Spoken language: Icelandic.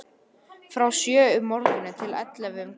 Frá sjö um morguninn til ellefu um kvöldið.